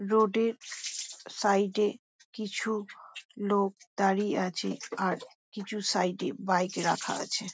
Road -এর side -এ কিছু লোক দাঁড়িয়ে আছে। আর কিছু -এ বাইক রাখা আছে ।